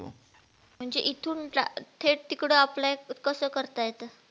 म्हणजे इथून जा थेट तिकडं अप्लाय कसं करता येतं?